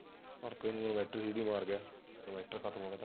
inverter ਖਤਮ ਹੋ ਗਿਆ